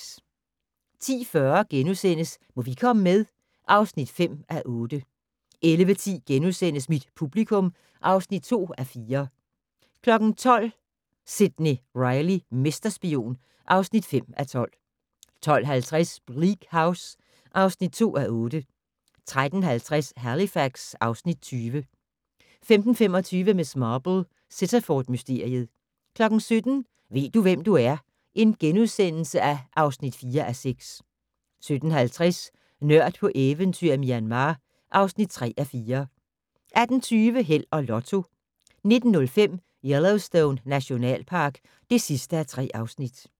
10:40: Må vi komme med? (5:8)* 11:10: Mit publikum (2:4)* 12:00: Sidney Reilly - mesterspion (5:12) 12:50: Bleak House (2:8) 13:50: Halifax (Afs. 20) 15:25: Miss Marple: Sittaford-mysteriet 17:00: Ved du, hvem du er? (4:6)* 17:50: Nørd på eventyr i Myanmar (3:4) 18:20: Held og Lotto 19:05: Yellowstone Nationalpark (3:3)